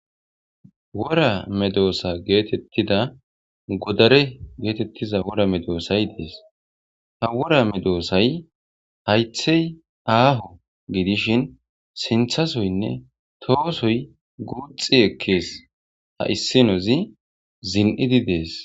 Worra medossa gettetida godarey gettetiza wora meddosay dessi ha wora meddosay hayiththey ahho giddishin sinththasoynne tohhossoy guuxxi ekkes ha issinozi ziiniidi deessi.